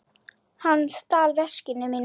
Hann stal veskinu mínu.